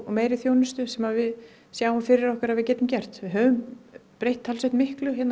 meiri þjónustu sem við sjáum fyrir okkur að við getum gert höfum breytt talsvert miklu